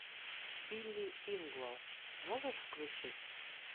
билли ингвал можешь включить